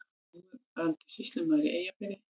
Núverandi sýslumaður í Eyjafirði.